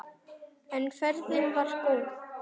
En ferðin var góð.